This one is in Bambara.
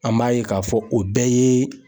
An b'a ye k'a fɔ o bɛɛ ye